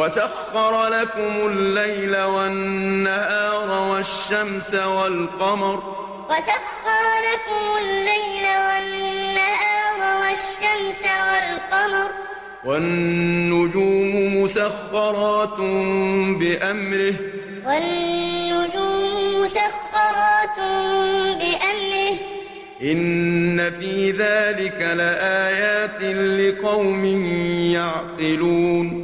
وَسَخَّرَ لَكُمُ اللَّيْلَ وَالنَّهَارَ وَالشَّمْسَ وَالْقَمَرَ ۖ وَالنُّجُومُ مُسَخَّرَاتٌ بِأَمْرِهِ ۗ إِنَّ فِي ذَٰلِكَ لَآيَاتٍ لِّقَوْمٍ يَعْقِلُونَ وَسَخَّرَ لَكُمُ اللَّيْلَ وَالنَّهَارَ وَالشَّمْسَ وَالْقَمَرَ ۖ وَالنُّجُومُ مُسَخَّرَاتٌ بِأَمْرِهِ ۗ إِنَّ فِي ذَٰلِكَ لَآيَاتٍ لِّقَوْمٍ